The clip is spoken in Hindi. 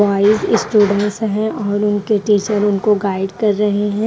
वहां एक स्टूडंट्स हैं और उनके टीचर उनको गाइड कर रहे हैं।